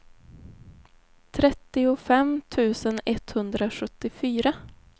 trettiofem tusen etthundrasjuttiofyra